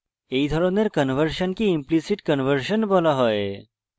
এই ধরনের কনভার্সনকে implicit implicit conversion বলা হয়